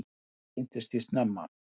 Ég kynntist því snemma.